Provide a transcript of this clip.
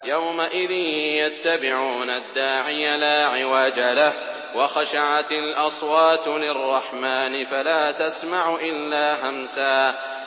يَوْمَئِذٍ يَتَّبِعُونَ الدَّاعِيَ لَا عِوَجَ لَهُ ۖ وَخَشَعَتِ الْأَصْوَاتُ لِلرَّحْمَٰنِ فَلَا تَسْمَعُ إِلَّا هَمْسًا